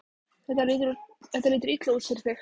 Þetta lítur illa út fyrir þig